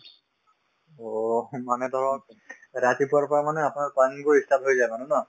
অ স মানে ধৰক ৰাতিপুৱাৰ পৰা মানে আপোনাৰ ই start হৈ যায় মানে ন